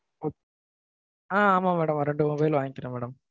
ஆஹ் ஆஹ் ஆமா madam. ரெண்டு mobile வாங்கிக்குறேன் madam.